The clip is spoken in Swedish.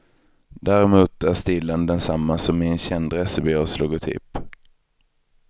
Däremot är stilen densamma som i en känd resebyrås logotyp.